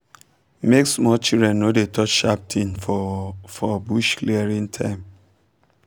make small children no dey touch sharp thing for for bush clearing time